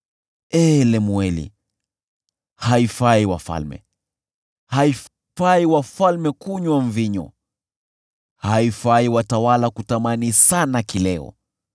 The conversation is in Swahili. “Ee Lemueli, haifai wafalme, haifai wafalme kunywa mvinyo, haifai watawala kutamani sana kileo,